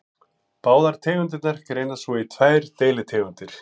Báðar tegundirnar greinast svo í tvær deilitegundir.